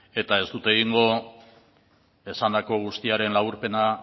eta ez dut egingo esandako guztiaren laburpena